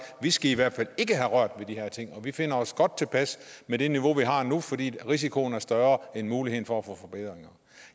vi skal i hvert fald ikke have rørt ved de her ting vi finder os godt tilpas med det niveau vi har nu fordi risikoen er større end muligheden for at få forbedringer